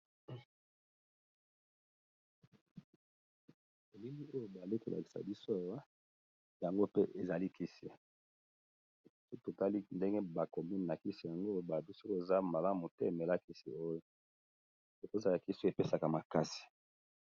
Bilili oyo bali kolakisa biso awa yango pe ezali kisi totali ndenge bakomi na kisi yango balobi soki eza malamu te omelakisi oyo ekozala kisi epesaka makasi.